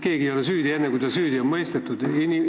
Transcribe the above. Keegi ei ole süüdi enne, kui ta süüdi on mõistetud.